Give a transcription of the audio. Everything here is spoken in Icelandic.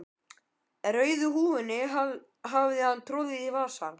Rauðu húfunni hafði hann troðið í vasann.